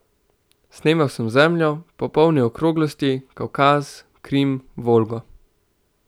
Snemal sem Zemljo, popolne okroglosti, Kavkaz, Krim, Volgo.